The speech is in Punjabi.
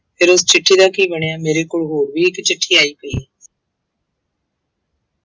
ਫਿਰ ਉਹ ਚਿੱਠੀ ਦਾ ਕੀ ਬਣਿਆ ਮੇਰੇ ਕੋਲ ਹੋਰ ਵੀ ਇੱਕ ਚਿੱਠੀ ਆਈ ਸੀ।